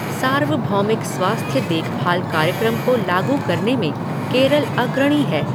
सार्वभौमिक स्वास्थ्य देखभाल कार्यक्रम को लागू करने में केरल अग्रणी है।